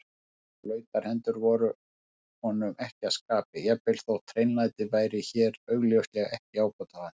Blautar hendur voru honum ekki að skapi, jafnvel þótt hreinlæti væri hér augljóslega ekki ábótavant.